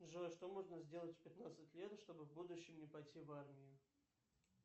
джой что можно сделать в пятнадцать лет чтобы в будущем не пойти в армию